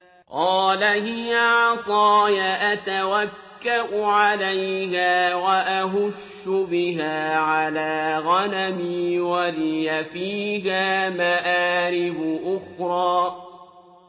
قَالَ هِيَ عَصَايَ أَتَوَكَّأُ عَلَيْهَا وَأَهُشُّ بِهَا عَلَىٰ غَنَمِي وَلِيَ فِيهَا مَآرِبُ أُخْرَىٰ